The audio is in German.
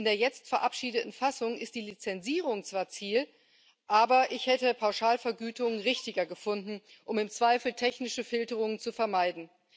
Und in der jetzt verabschiedeten Fassung ist die Lizenzierung zwar Ziel, aber ich hätte Pauschalvergütungen richtiger gefunden, um im Zweifel technische Filterungen zu vermeiden.